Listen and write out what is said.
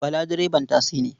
Bala direban tasi ne.